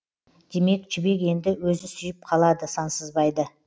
демек жібек енді өзі сүйіп қалады сансызбайды